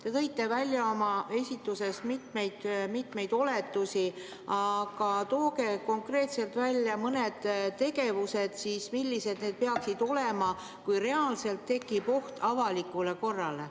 Te tõite oma esituses välja mitmeid oletusi, aga nimetage konkreetselt mõned tegevused, mille korral tekib reaalne oht avalikule korrale.